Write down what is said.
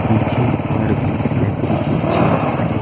पीछे और भी लगी के चेयर हैं।